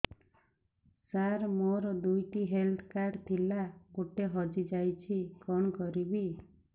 ସାର ମୋର ଦୁଇ ଟି ହେଲ୍ଥ କାର୍ଡ ଥିଲା ଗୋଟେ ହଜିଯାଇଛି କଣ କରିବି